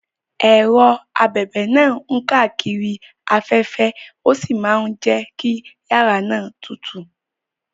Ẹ̀rọ abẹ̀bẹ̀ náà ń káàkiri afẹ́fẹ́ ó sì máa ń jẹ́ kí yàrá náà tutù.